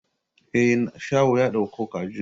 Eh, shaho ya dauko kajin.